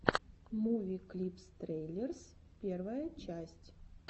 муви клипс трейлерс первая часть